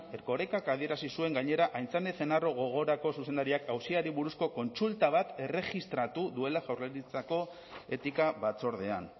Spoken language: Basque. erkorekak adierazi zuen gainera aintzane ezenarro gogorako zuzendariak auziari buruzko kontsulta bat erregistratu duela jaurlaritzako etika batzordean